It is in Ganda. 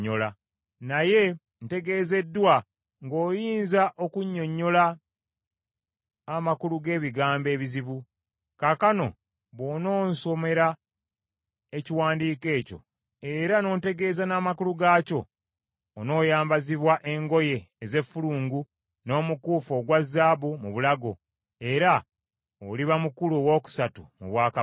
Naye ntegeezeddwa, ng’oyinza okunnyonnyola amakulu g’ebigambo ebizibu. Kaakano bw’ononsomera ekiwandiiko ekyo, era n’ontegeeza n’amakulu gaakyo, onooyambazibwa engoye ez’effulungu n’omukuufu ogwa zaabu mu bulago, era oliba mukulu owookusatu mu bwakabaka.”